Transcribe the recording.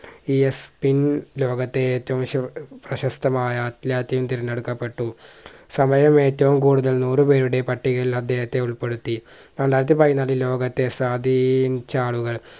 ലോകത്തെ ഏറ്റവും ശു പ്രശസ്തമായ തിരഞ്ഞെടുക്കപ്പെട്ടു സമയം ഏറ്റവും കൂടുതൽ നൂറു പേരുടെ പട്ടികയിൽ അദ്ദേഹത്തെ ഉൾപ്പെടുത്തി. രണ്ടായിരത്തി പതിനാറിൽ ലോകത്തെ സ്വാധീനിച്ച ആളുകൾ